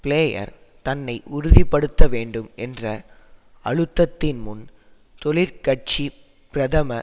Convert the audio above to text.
player தன்னை உறுதிப்படுத்தவேண்டும் என்ற அழுத்தத்தின் முன் தொழிற்கட்சி பிரதம